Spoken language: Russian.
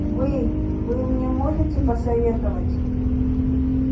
вы вы мне можете посоветовать